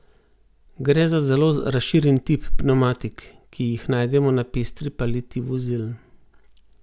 Gre za zelo razširjen tip pnevmatik, ki jih najdemo na pestri paleti vozil.